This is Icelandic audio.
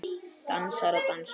Dansar og dansar.